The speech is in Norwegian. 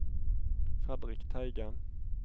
Fredrik Teigen